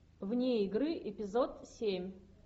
вне игры эпизод семь